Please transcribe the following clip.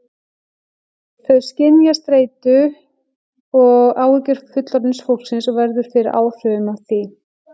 Þau skynja streitu og áhyggjur fullorðna fólksins og verða fyrir áhrifum af því.